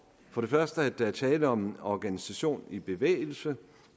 for det første at der er tale om en organisation i bevægelse